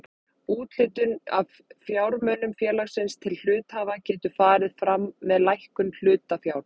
Úthlutun af fjármunum félagsins til hluthafa getur farið fram með lækkun hlutafjár.